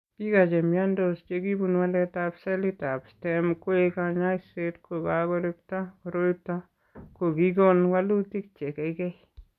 Biko che imiandos che kibun waletab selitab Stem koek kanyoiset ko kakorekto koroito ko kikon walutik che keikei.